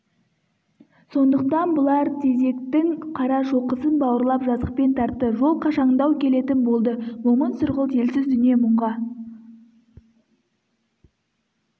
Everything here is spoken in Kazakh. сондықтан бұлар тезектің қарашоқысын бауырлап жазықпен тартты жол қашаңдау келетін болды момын сұрғылт елсіз дүние мұңға